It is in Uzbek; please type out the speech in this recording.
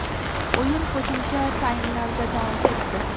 O‘yin qo‘shimcha taymlarda davom etdi.